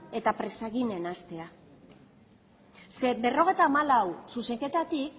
eta berrogeita hamalau zuzenketatik